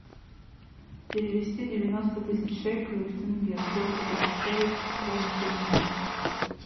перевести девяносто тысяч шекелей в тенге сколько будет стоить стоимость обмена